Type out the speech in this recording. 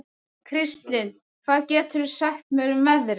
Kristlind, hvað geturðu sagt mér um veðrið?